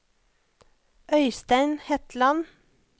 Øystein Hetland